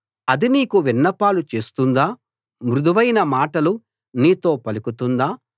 అది నీకు విన్నపాలు చేస్తుందా మృదువైన మాటలు నీతో పలుకుతుందా